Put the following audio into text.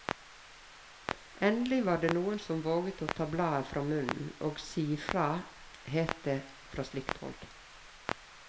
Endelig var det noen som våget å ta bladet fra munnen og si ifra, het det fra slike hold.